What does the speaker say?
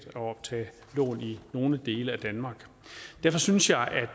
at optage lån i nogle dele af danmark derfor synes jeg at det